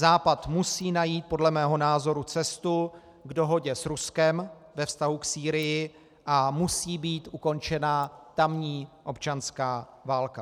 Západ musí najít podle mého názoru cestu k dohodě s Ruskem ve vztahu k Sýrii a musí být ukončena tamní občanská válka.